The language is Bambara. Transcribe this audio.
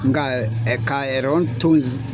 Nka ka toyi.